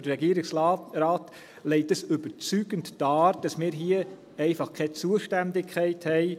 Der Regierungsrat legt überzeugend dar, dass wir hier einfach keine Zuständigkeit haben.